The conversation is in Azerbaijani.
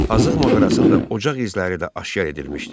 Azıq mağarasında ocaq izləri də aşkar edilmişdi.